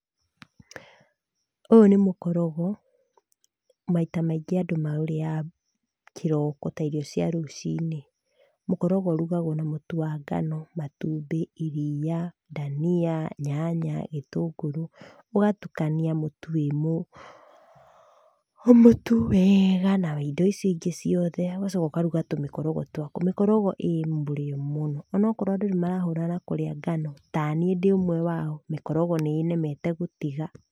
Ũyũ nĩ mũkorogo, maita maingĩ andũ maũrĩaga, kĩroko ta irio cia rũcinĩ. Mũkorogo ũrugagũo na mũtu wa ngano, matumbĩ, iria, dania, nyanya, gĩtũngũrũ, ũgatukania mũtu wĩmũ, mũtu weega na indo icio ingĩ ciothe, ũgacoka ũkaruga tũmĩkorogo twaku. Mĩkorogo ĩ mũrĩo mũno, onokorũo andũ nĩmarahũrana na kũrĩa ngano, ta niĩ ndĩ ũmwe wao, mĩkorogo nĩĩnemete gũtiga.